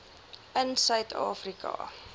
in suid afrika